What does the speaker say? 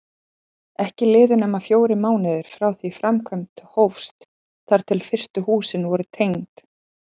Ekki liðu nema fjórir mánuðir frá því framkvæmd hófst þar til fyrstu húsin voru tengd.